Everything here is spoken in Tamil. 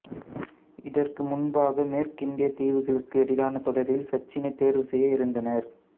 இதற்கு முன்பாக மேற்கிந்தியத் தீவுகளுக்கு எதிரான தொடரில் சச்சினைத் தேர்வு செய்ய இருந்தனர்